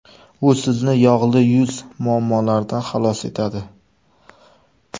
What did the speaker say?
U sizni yog‘li yuz muammolaridan xalos etadi.